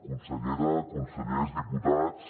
consellera consellers diputats